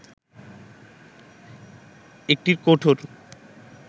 একটি কঠোর